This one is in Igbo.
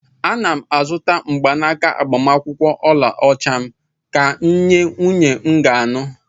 Ana m azụta mgbanaka agbamakwụkwọ ọlaọcha m ga-enye nwunye m ga anụ.